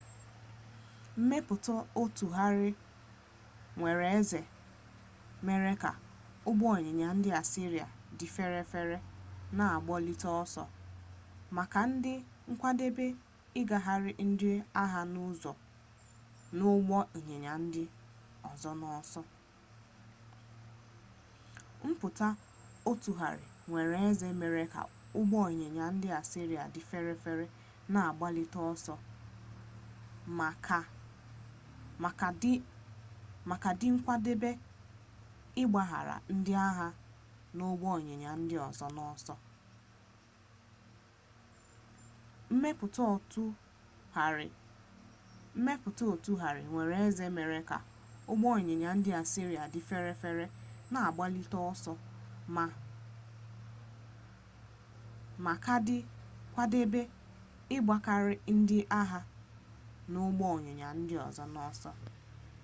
mmepụta ọtụgharị nwere eze mere ka ụgbọịnyịnya ndị asịrịa dị ferefere na-agbalite ọsọ ma ka dị nkwadebe ịgbakarị ndị agha na ụgbọịnyịnya ndị ọzọ n'ọsọ